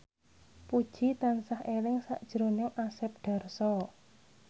Puji tansah eling sakjroning Asep Darso